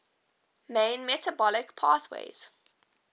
main metabolic pathways